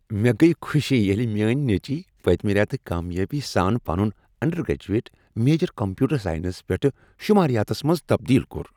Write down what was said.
مےٚ گٔیہ خوشی ییٚلہ میٲنۍ نیٚچوۍ پٔتۍمہ ریتہٕ کامیٲبی سان پنن انڈرگریجویٹ میجر کمپیوٹر ساینس پیٛٹھٕ شماریاتس منٛز تبدیل کوٚر۔